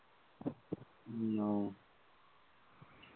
উম ও